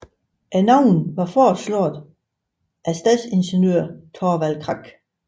Navnene var foreslået af stadsingeniør Thorvald Krak